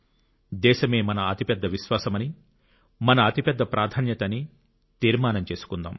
దేశమే మన అతిపెద్ద విశ్వాసమని మన అతిపెద్ద ప్రాధాన్యత అని తీర్మానం చేసుకుందాం